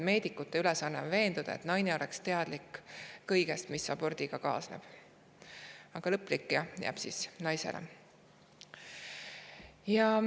Meedikute ülesanne on veenduda, et naine oleks teadlik kõigest, mis abordiga kaasneb, aga lõplik "jah" jääb naisele.